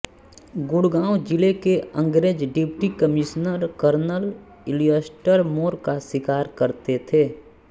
गुड़गांव जिले के अंग्रेज डिप्टी कमिश्नर कर्नल इलियस्टर मोर का शिकार करते थे